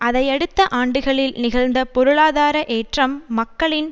அதையடுத்த ஆண்டுகளில் நிகழ்ந்த பொருளாதார ஏற்றம் மக்களின்